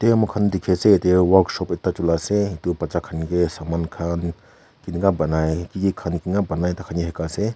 mur khan ete work shop chelei ase etu batcha khan ke saman khan kinika bonai ki khan kine banai Shikhe ase.